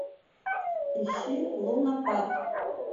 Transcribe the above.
ищи лунапарк